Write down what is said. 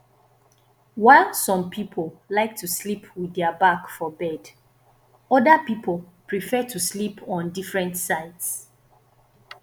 while some pipo like to sleep with their back for bed oda pipo prefer to sleep on different sides